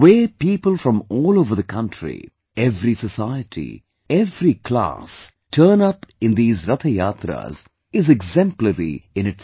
The way people from all over the country, every society, every class turn up in these Rath Yatras is exemplary in itself